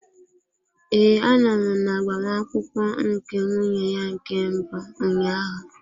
Ee, anọ m na agbamakwụkwọ nke nwunye ya nke mbụ ụnyaahụ.